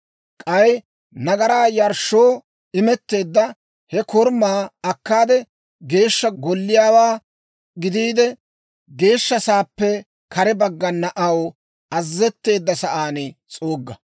K'ay nagaraa yarshshoo imetteedda he korumaa akkaade, Geeshsha Golliyaawaa gidiide, geeshsha sa'aappe kare baggana aw azazetteedda sa'aan s'uugga.